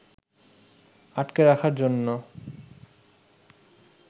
আটকে রাখার জন্য